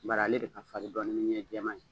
N bari ale de ka farin dɔɔnin ni ɲɛ jɛman ye